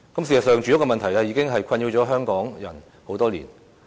事實上，住屋問題已經困擾港人多年。